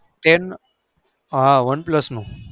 છે one plus નો